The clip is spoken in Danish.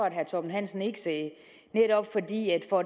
at herre torben hansen ikke sagde netop fordi jeg for